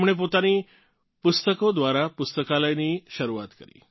તેમણે પોતાની પુસ્તકો દ્વારા પુસ્તકાલયની શરૂઆત કરી